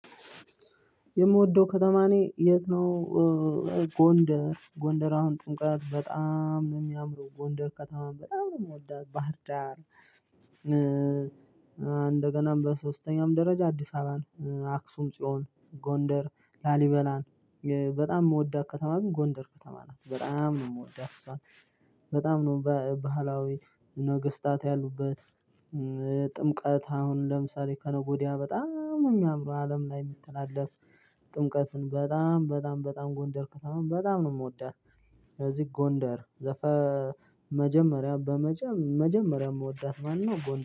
የምወደው ከተማ እኔ የት ነው? ጎንደር ጎንደር አሁን ጥምቀት በጣም ነው የሚያምረው ጎንደር ከተማ በጣም ነው የምወደው ባህርዳር፣ እንደገናም በሶስተኛውም ደረጃ አዲስ አበባን፣ አክሱም ጽዮን፣ ጎንደር፣ ላሊበላን፣ በጣም የምወዳት ከተማ ግን ጎንደር ከተማ ናት በጣም ነው የምወዳት እሷን በጣም ነው ባህላዊ ነገስታት ያሉበት ጥምቀት አሁን ለምሳሌ ከነገ ወዲያ በጣም ነው የሚያምረው አለም ላይ የሚተላለፍ ጥምቀትን በጣም በጣም በጣም ጎንደር ከተማው በጣም ነው የምወዳት ለዚህ ጎንደር ዘፈ መጀመሪያ በመጀመሪያ መወዳት ማነው ጎንደር